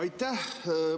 Aitäh!